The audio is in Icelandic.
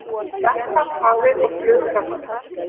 Verkfall hafið og flug raskast